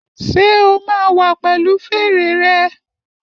Ṣé o máa wá pẹ̀lu fèrè rẹ?